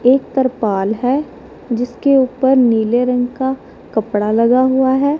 एक त्रपाल है जिसके ऊपर नीले रंग का कपड़ा लगा हुआ हैं।